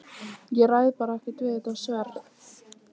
Ég ræð bara ekkert við þetta sverð!